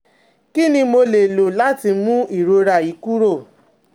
Kini mo le lo lati mu irora yi kuro?